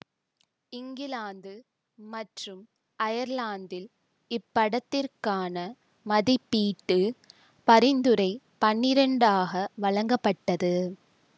இங்கிலாந்து மற்றும் அயர்லாந்தில் இப்படத்திற்கான மதிப்பீட்டு பரிந்துரை பன்னிரெண்டாக வழங்கப்பட்டது